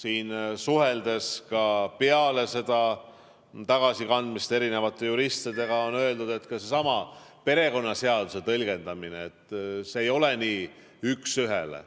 Olles suhelnud ka peale seda tagasikandmist juristidega, võin öelda, et ka seesama perekonnaseaduse tõlgendus ei ole nii üksühene.